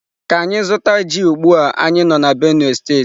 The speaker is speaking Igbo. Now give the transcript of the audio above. Ka anyi zuta ji ugbua anyi no na Benue state.